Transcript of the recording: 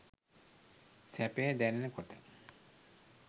සැපය දැනෙන කොට